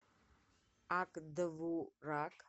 ак довурак